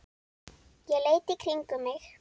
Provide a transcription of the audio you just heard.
Ég leit í kringum mig.